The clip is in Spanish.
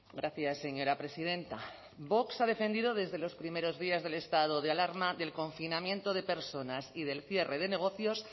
gracias señora presidenta vox ha defendido desde los primeros días del estado de alarma del confinamiento de personas y del cierre de negocios